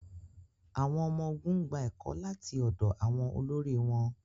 àwọn ọmọ-ogun gba ẹkọ lati ọdọ àwọn olori wọn